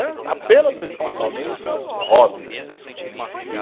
Apenas e tão somente, hobby mesmo, que